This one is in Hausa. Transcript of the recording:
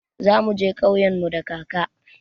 Za mu je ƙauyen mu da kaka.